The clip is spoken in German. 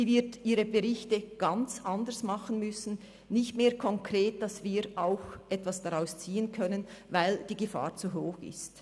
Sie wird ihre Berichte ganz anders verfassen müssen, sie werden nicht mehr konkret sein, sodass wir daraus etwas ziehen können –, ganz einfach weil die Gefahr zu hoch ist.